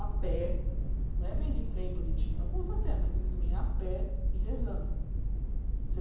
a pé, não é vem de trem bonitinho, alguns até, mas eles vêm a pé e rezando.